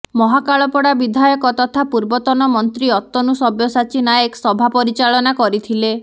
ମହାକାଳପଡ଼ା ବିଧାୟକ ତଥା ପୂର୍ବତନ ମନ୍ତ୍ରୀ ଅତନୁ ସବ୍ୟସାଚୀ ନାୟକ ସଭା ପରିଚାଳନା କରିଥିଲେ